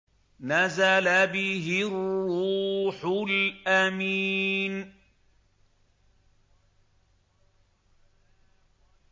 نَزَلَ بِهِ الرُّوحُ الْأَمِينُ